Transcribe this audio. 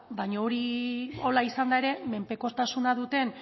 baino hori hola izanda ere menpekotasuna duten